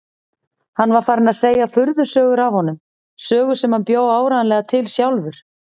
Hann var farinn að segja furðusögur af honum, sögur sem hann bjó áreiðanlega til sjálfur.